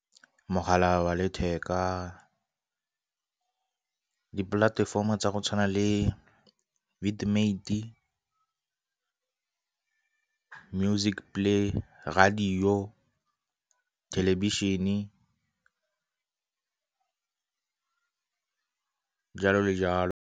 Mogala wa letheka, dipolatefomo tsa go tshwana le , music play, radio, thelebišene jalo le jalo.